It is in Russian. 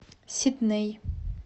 сидней